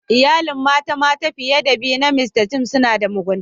Iyalin mata mata fiye da biyu na mista Seth suna da mugunta.